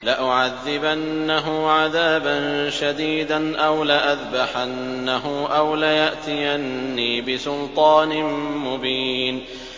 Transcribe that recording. لَأُعَذِّبَنَّهُ عَذَابًا شَدِيدًا أَوْ لَأَذْبَحَنَّهُ أَوْ لَيَأْتِيَنِّي بِسُلْطَانٍ مُّبِينٍ